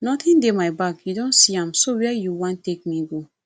nothing dey my bag you don see am so where you wan take me go